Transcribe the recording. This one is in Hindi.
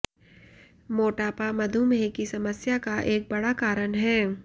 मोटापा मधुमेह की समस्या का एक बड़ा कारण है